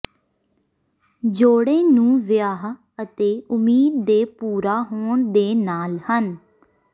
ਜੋੜੇ ਨੂੰ ਵਿਆਹ ਅਤੇ ਉਮੀਦ ਦੇ ਪੂਰਾ ਹੋਣ ਦੇ ਨਾਲ ਹਨ